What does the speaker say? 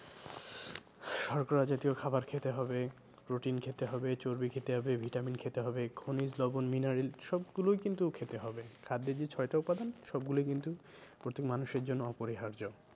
শর্করা জাতীয় খাবার খেতে হবে protein খেতে হবে, চর্বি খেতে হবে, vitamin খেতে হবে, খনিজ লবন mineral সবগুলোই কিন্তু খেতে হবে। খাদ্যের যেই ছয়টা উপাদান সবগুলোই কিন্তু প্রতি মানুষের জন্য অপরিহার্য।